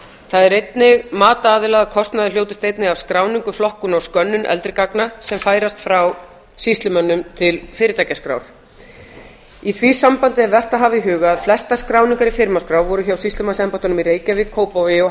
það er einnig mat aðila að kostnaður hljótist einnig af skráningu flokkun og skönnun eldri gagna sem færast frá sýslumönnum til fyrirtækjaskrár í því sambandi er vert að hafa í huga að flestar skráningar í firmaskrá voru hjá sýslumannsembættunum í reykjavík kópavogi og